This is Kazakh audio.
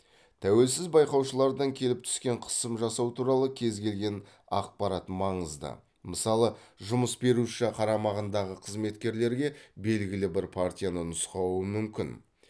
тәуелсіз байқаушылардан келіп түскен қысым жасау туралы кез келген ақпарат маңызды мысалы жұмыс беруші қарамағындағы қызметкерлерге белгілі бір партияны нұсқауы мүмкін